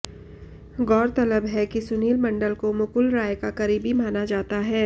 गौरतलब है कि सुनील मंडल को मुकुल रॉय का करीबी माना जाता है